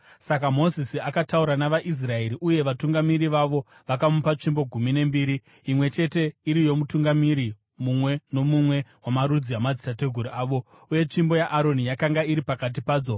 Saka Mozisi akataura navaIsraeri, uye vatungamiri vavo vakamupa tsvimbo gumi nembiri, imwe chete iri yomutungamiri mumwe nomumwe wamarudzi amadzitateguru avo, uye tsvimbo yaAroni yakanga iri pakati padzo.